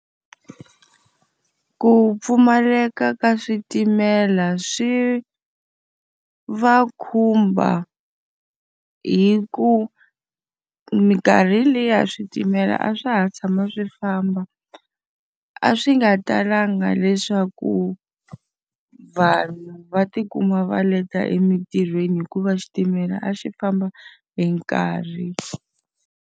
Ku pfumaleka ka switimela swi va khumba hi ku minkarhi liya switimela a swa ha tshama swi famba, a swi nga talanga leswaku vanhu va ti kuma va leta emintirhweni hikuva xitimela a xi famba hi nkarhi.